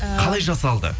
қалай жасалды